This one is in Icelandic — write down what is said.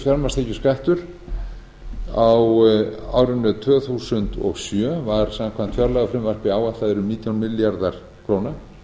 fjármagnstekjuskattur á árinu tvö þúsund og sjö var samkvæmt fjárlagafrumvarpi áætlaður um nítján milljarðar króna